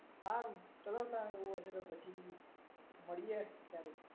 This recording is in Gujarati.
સારું, ચલો તા એવું હશે તો પછી મળીએ ક્યારેક.